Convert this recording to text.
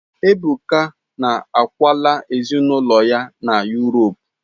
Ebuka na akwala ezinụlọ ya na Yuropu.